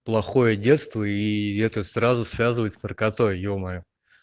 плохое детство и это сразу связывает с наркотой ё-моё